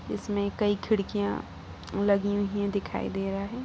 इसमें कई खिड़कियां लगी हुई हैं दिखाई दे रहा है।